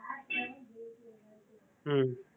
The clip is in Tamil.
ஹம்